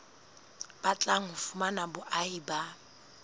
batlang ho fumana boahi ba